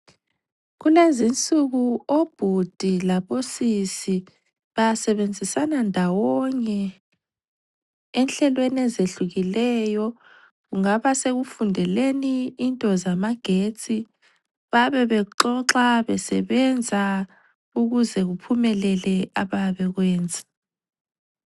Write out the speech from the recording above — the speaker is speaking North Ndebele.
Kulezinsuku obhudi labo sisi basebenzisana ndawonye enhlelweni ezehlukileyo kungaba sekufundeleni into zamagetsi bayabe bexoxa besebenza ukuze kuphumelele abayabe bekwenza.